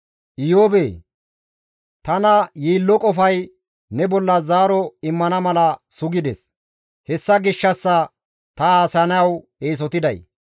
«Iyoobee! Tana yiillo qofay ne bolla zaaro immana mala sugides; hessa gishshassa ta haasayanawu eesotiday.